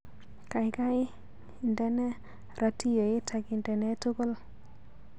Gaigai indene ratioit akindene tugul